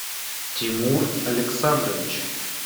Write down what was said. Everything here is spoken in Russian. тимур александрович